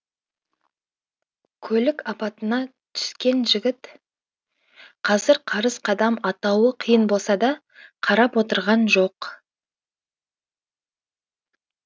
көлік апатына түскен жігіт қазір қарыс қадам атауы қиын болса да қарап отырған жоқ